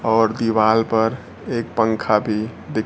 और दीवाल पर एक पंखा भी दिख--